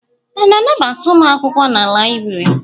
A na-anabata ụmụ akwụkwọ na láyịbụrị?